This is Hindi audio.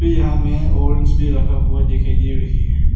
यहां में ऑरेंज भी रखा हुआ दिखाई दे रही है।